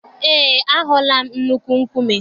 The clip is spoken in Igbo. Eé, ahụla m nnukwu nkume